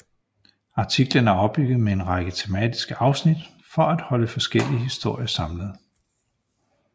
Artiklen er opbygget med en række tematiske afsnit for at holde forskellige historier samlet